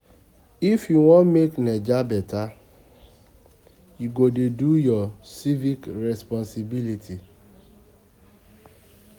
If you wan make Naija beta, you go dey do your civic responsibility.